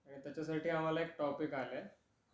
त्याच्या साठी आम्हाला एक टॉपिक आला आहे,